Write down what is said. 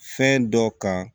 Fɛn dɔ kan